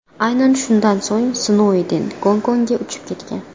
Aynan shundan so‘ng Snouden Gongkongga uchib ketgan.